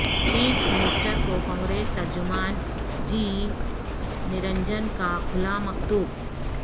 chief minister کو کانگریس ترجمان G Niranjan کا کھلا مکتوب